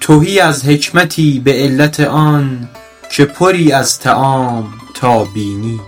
تهی از حکمتی به علت آن که پری از طعام تا بینی